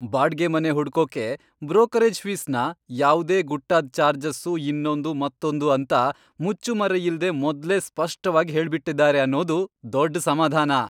ಬಾಡ್ಗೆ ಮನೆ ಹುಡ್ಕೋಕೆ ಬ್ರೋಕರೇಜ್ ಫೀಸ್ನ ಯಾವ್ದೇ ಗುಟ್ಟಾದ್ ಚಾರ್ಜಸ್ಸು, ಇನ್ನೊಂದು ಮತ್ತೊಂದು ಅಂತ ಮುಚ್ಚುಮರೆಯಿಲ್ದೇ ಮೊದ್ಲೇ ಸ್ಪಷ್ಟವಾಗ್ ಹೇಳ್ಬಿಟಿದಾರೆ ಅನ್ನೋದು ದೊಡ್ಡ್ ಸಮಾಧಾನ.